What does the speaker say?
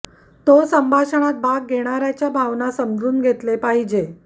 तो संभाषणात भाग घेणारा च्या भावना समजून घेतले पाहिजे